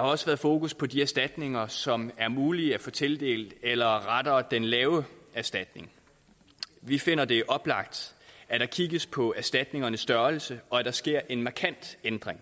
også været fokus på de erstatninger som er muligt at få tildelt eller rettere den lave erstatning vi finder det oplagt at der kigges på erstatningernes størrelse og at der sker en markant ændring